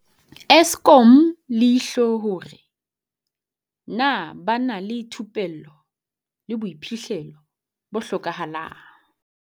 Eskom leihlo hore na ba na le thupello le boiphihlelo bo hlokahalang.